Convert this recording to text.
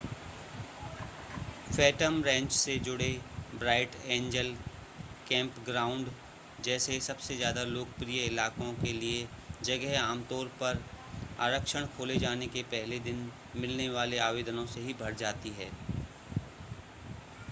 Phantom Ranch से जुड़े Bright Angel campground जैसे सबसे ज़्यादा लोकप्रिय इलाकों के लिए जगह आमतौर पर आरक्षण खोले जाने के पहले दिन मिलने वाले आवेदनों से ही भर जाती है